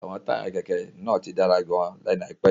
Àwọn táyà kẹ̀kẹ́ náà ti dára gan-an lẹ́nu àìpẹ́ yìí.